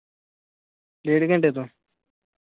ਡੇਡ ਘੰਟੇ ਤੋਂ?